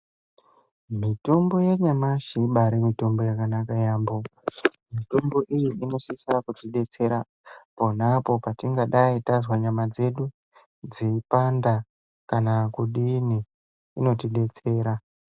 Mitombo yanyamashi ibaari mitombo yakanaka yaambo, mitombo iyi inosisira kutidetsera pona apo patingadai tazwa nyama dzedu dzeipanda kana kudini, inotidetsera